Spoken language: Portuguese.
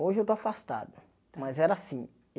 Hoje eu tô afastado, mas era assim.